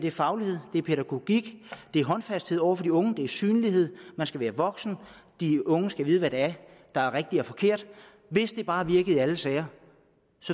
er faglighed det er pædagogik det er håndfasthed over for de unge det er synlighed man skal være voksen de unge skal vide hvad det er der er rigtigt og forkert hvis det bare virkede i alle sager